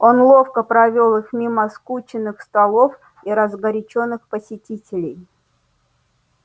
он ловко провёл их мимо скученных столов и разгорячённых посетителей